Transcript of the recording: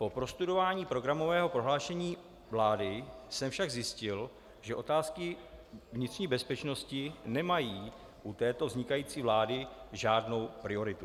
Po prostudování programového prohlášení vlády jsem však zjistil, že otázky vnitřní bezpečnosti nemají u této vznikající vlády žádnou prioritu.